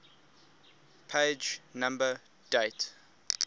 page number date